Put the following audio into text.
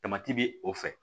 bi o fɛ